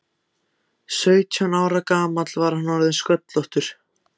Sautján ára gamall var hann orðinn sköllóttur.